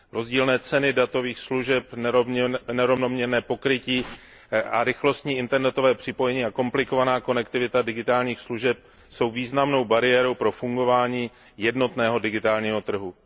Rozdílné ceny datových služeb, nerovnoměrné pokrytí a rychlostní internetové spojení a komplikovaná konektivita digitálních služeb jsou významnou bariérou pro fungování jednotného digitálního trhu.